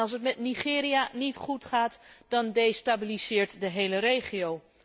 Als het met Nigeria niet goed gaat, dan destabiliseert de hele regio.